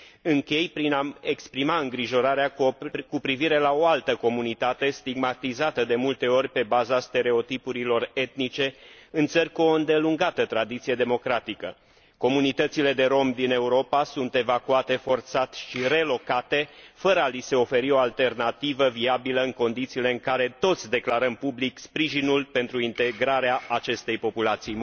Închei prin a mi exprima îngrijorarea cu privire la o altă comunitate, stigmatizată de multe ori pe baza stereotipurilor etnice în țări cu o îndelungată tradiție democratică comunitățile de romi din Europa sunt evacuate forțat și relocate, fără a li se oferi o alternativă viabilă, în condițiile în care toți declarăm public sprijinul pentru integrarea acestei populații.